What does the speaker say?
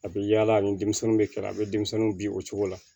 A bɛ yaala ni denmisɛnninw bɛ kɛrɛ a bɛ denmisɛnninw bin o cogo la